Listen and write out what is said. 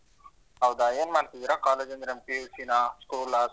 ಹೌದಾ, ಏನ್ ಮಾಡ್ತಿದೀರಾ college ಅಂದ್ರೆ PUC ನಾ school ಅಥವಾ?